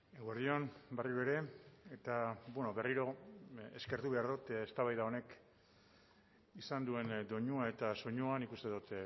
eguerdi on berriro ere eta berriro eskertu behar dut eztabaida honek izan duen doinua eta soinuan nik uste dut